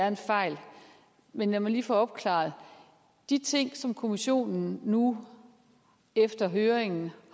en fejl men lad mig lige få det opklaret at de ting som kommissionen nu efter høringen